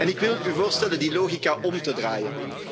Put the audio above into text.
Ik wil u voorstellen die logica om te draaien.